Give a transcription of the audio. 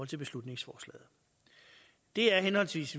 til beslutningsforslaget det er henholdsvis